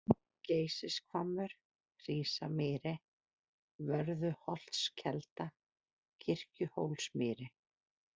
Geysishvammur, Hrísamýri, Vörðuholtskelda, Kirkjuhólsmýri